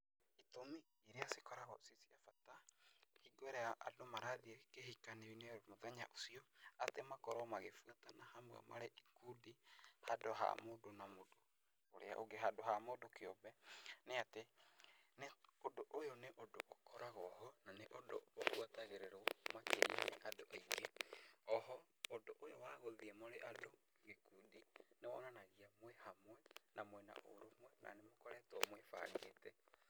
Itũmi iria cikoragwo ciĩ cia bata hingo ĩrĩa andũ marathiĩ kĩhikanio-inĩ mthenya ũcio, atĩ makorwo magĩbuatana hamwe marĩ ikundi handũ wa mũndũ na ũrĩa ũngĩ, handũ wa mũndũ kĩũmbe, nĩ atĩ, ũndũ ũyũ nĩ ũndũ ũkoragwo ho na nĩ ũndũ ũbuatagĩrĩrwo makĩria nĩ andũ aingĩ, o ho ũndũ ũyũ wa gũthiĩ mũrĩ andũ gĩkundi, nĩ wonanagia mwĩ hamwe na mwĩ na ũrũmwe na nĩ mũkoretwo mũĩbangĩte